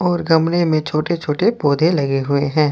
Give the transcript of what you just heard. और गमले में छोटे छोटे पौधे लगे हुए हैं।